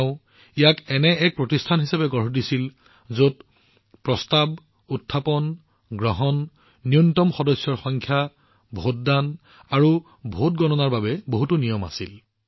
তেওঁ ইয়াক এক প্ৰতিষ্ঠান হিচাপে বৰ্ণনা কৰিছিল যত প্ৰস্তাৱ সংকল্প কোৰাম ভোটদান আৰু ভোটগণনাৰ বাবে বহুতো নিয়ম আছিল